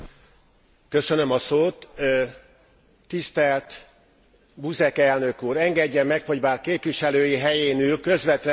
Tisztelt Buzek elnök úr, engedje meg, hogy bár képviselői helyén ül, közvetlenül Önhöz intézzem a szavaimat.